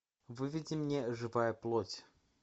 выведи мне живая плоть